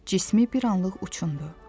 Cismi bir anlıq uçundu.